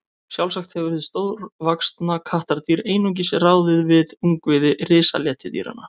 Sjálfsagt hefur hið stórvaxna kattardýr einungis ráðið við ungviði risaletidýranna.